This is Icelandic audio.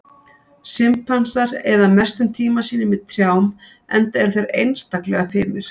Simpansar eyða mestum tíma sínum í trjám enda eru þeir einstaklega fimir.